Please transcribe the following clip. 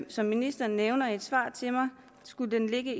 som ministeren nævner i et svar til mig skulle den ligge